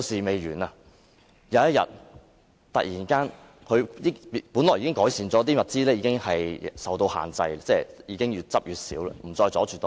本來情況已經有所改善，收集的物品已經受到控制，越來越少，不再阻塞道路。